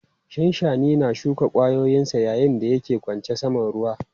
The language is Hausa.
Shanshani na shuka ƙwayayensa yayin da yake ƙwace saman ruwa.